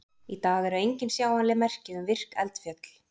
Í dag eru engin sjáanleg merki um virk eldfjöll.